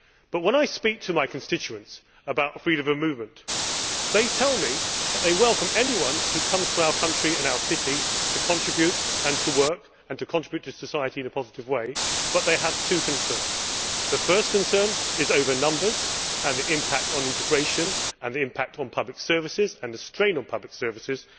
But when I speak to my constituents about freedom of movement, they tell me that they welcome anyone who comes to our country and our city to contribute, to work and to contribute to society in a positive way, but they have two concerns. The first concern is over numbers, the impact on integration and the impact and strain on public services.